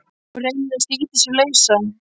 Hún reynir að slíta sig lausa.